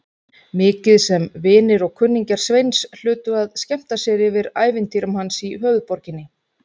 Mikið sem vinir og kunningjar Sveins hlutu að skemmta sér yfir ævintýrum hans í höfuðborginni.